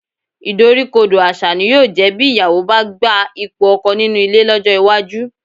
Ìdoríkodò àṣà ni yóò jẹ́ bí ìyàwó bá gba ipò ọkọ nínú ilé lọ́jọ́ iwájú